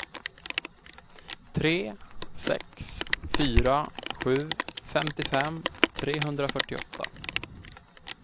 tre sex fyra sju femtiofem trehundrafyrtioåtta